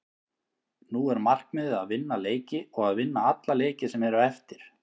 Nú er markmiðið að vinna leiki og að vinna alla leiki sem eru eftir.